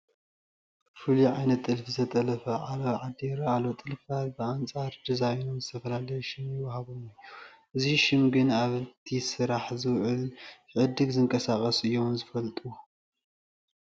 ፍሉይ ዓይነት ጥልፊ ዝተጠለፈ ዓለባ ዓዲ ይርአ ኣሎ፡፡ ጥልፍታት ብኣንፃር ዲዛይኖም ዝተፈላለየ ሽም ይወሃቦም እዩ፡፡ ነዚ ሽም ግን ኣብቲ ስራሕ ዝውዕለን ክዕድግ ዝተንቀሳቐሰን እዮም ዝፈልጡዎ፡፡